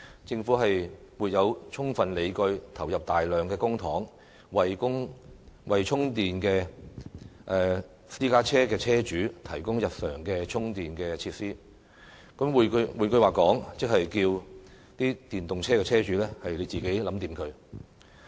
政府沒有充分理據投入大量公帑，為電動私家車車主提供日常充電設施"。換句話說，即要求電動車車主自行解決問題。